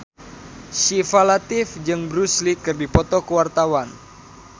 Syifa Latief jeung Bruce Lee keur dipoto ku wartawan